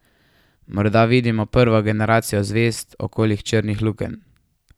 Morda vidimo prvo generacijo zvezd okoli črnih lukenj?